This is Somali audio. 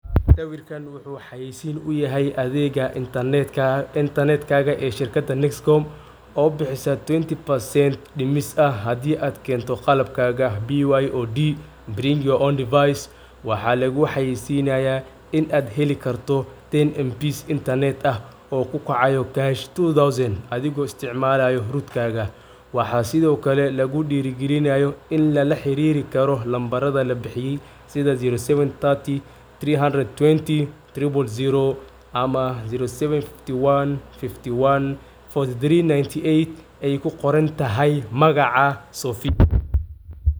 Sawirka wuxu xayisin uyahay adega intarnetka ee nescom oo hadi ad twenty percent kento hadi kento qalabkaga waxa luguxayisanaya in ad heli karto internet kukacayo two thousand oo kash ah waxa sido kale lugudiri galinayo numbarada labixiye ey kuqorontahay magaca sofii.